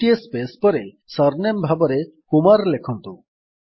ଗୋଟିଏ ସ୍ପେସ୍ ପରେ ସରନେମ୍ ଭାବରେ କୁମାର ଲେଖନ୍ତୁ